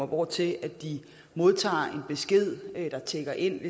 hvortil de modtager en besked der tikker ind